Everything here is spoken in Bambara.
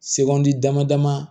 Se kɔn dama dama